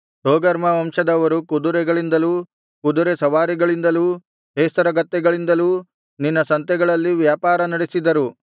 ತೋಗರ್ಮ ವಂಶದವರು ಕುದುರೆಗಳಿಂದಲೂ ಕುದುರೆ ಸವಾರಿಗಳಿಂದಲೂ ಹೇಸರಗತ್ತೆಗಳಿಂದಲೂ ನಿನ್ನ ಸಂತೆಗಳಲ್ಲಿ ವ್ಯಾಪಾರ ನಡೆಸಿದರು